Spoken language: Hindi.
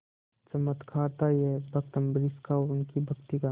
चमत्कार था यह भक्त अम्बरीश का और उनकी भक्ति का